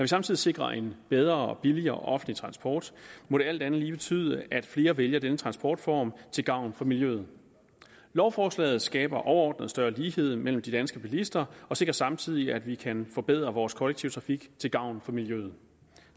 samtidig sikrer en bedre og billigere offentlig transport må det alt andet lige betyde at flere vælger denne transportform til gavn for miljøet lovforslaget skaber overordnet større lighed mellem de danske bilister og sikrer samtidig at vi kan forbedre vores kollektive trafik til gavn for miljøet